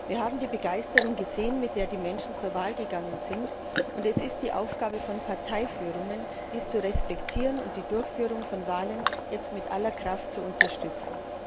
Wir haben die Begeisterung gesehen, mit der die Menschen zur Wahl gegangen sind, und es ist die Aufgabe von Parteiführungen, dies zu respektieren und die Durchführung von Wahlen jetzt mit aller Kraft zu unterstützen.